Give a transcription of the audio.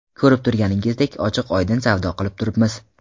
Ko‘rib turganingizdek, ochiq-oydin savdo qilib turibmiz.